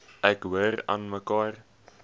ek hoor aanmekaar